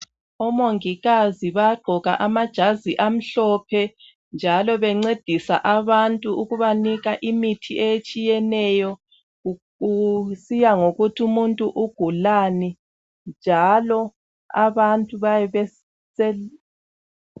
Omongikazi bayagqoka amajazi amhlophe njalo bencedisa abantu ukubanika imithi etshiyeneyo kusiya ngokuthi umuntu ukugulani njalo abantu bayabe bese